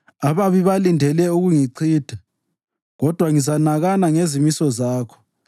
Ababi balindele ukungichitha, kodwa ngizanakana ngezimiso zakho.